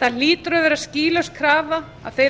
það hlýtur að vera skýlaus krafa að þeir